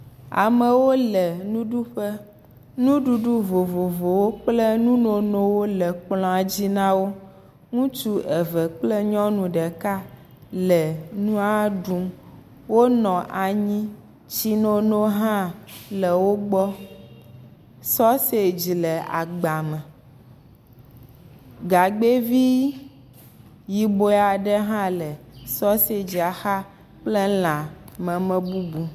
Amewo le nuɖuƒe. Nuɖuɖu vovovowo kple nunonowo le kplɔ̃a dzi na wo. Ŋutsu eve kple nyɔnu ɖeka le nua ɖum. Wonɔ anyi, tsi nono hã le wo gbɔ. Sausage le agba me. Gagbe vi yibɔe aɖe hã le sausage la xa kple lã meme bubu.